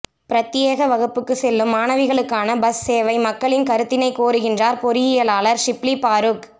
பிரத்தியேக வகுப்புக்கு செல்லும் மாணவிகளுக்கான பஸ் சேவை மக்களின் கருத்தினை கோருகின்றார் பொறியியலாளர் ஷிப்லி பாறுக்